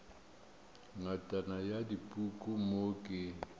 ngatana ya dipuku mo ke